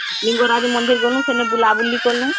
ଲିଙ୍ଗରାଜ ମନ୍ଦିର ଗ୍ନୁ , ସେନୁ ବୁଲା ବୁଲି କନୁ